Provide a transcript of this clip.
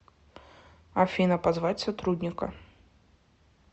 афина позвать сотрудника